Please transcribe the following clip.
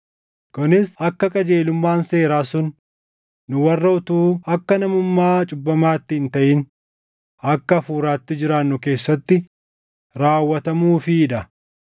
Kunis akka qajeelummaan seeraa sun nu warra utuu akka namummaa cubbamaatti hin taʼin akka Hafuuraatti jiraannu keessatti raawwatamuufii dha.